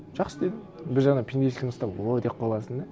жақсы дедім бір жағынан пендешілігің ұстап о деп қаласың да